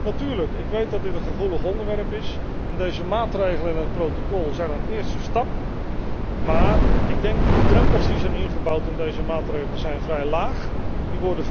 Natuurlijk, ik weet dat dit een gevoelig onderwerp is, en deze maatregelen in het protocol zijn een eerste stap, maar ik denk dat de drempels die zijn ingebouwd in deze maatregelen, vrij laag zijn.